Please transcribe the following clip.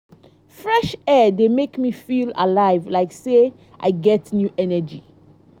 fresh air dey make me feel alive like sey i get new energy